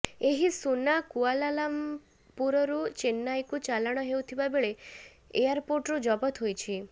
ଏହି ସୁନା କୁଆଲାଲାମପୁରରୁ ଚେନ୍ନାଇକୁ ଚାଲାଣ ହେଉଥିବା ବେଳେ ଏୟାରପୋର୍ଟରୁ ଜବତ ହୋଇଛି